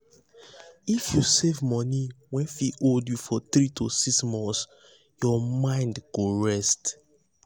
if you save money wey fit hold you for 3–6 months your mind mind go rest.